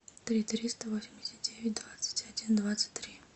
три триста восемьдесят девять двадцать один двадцать три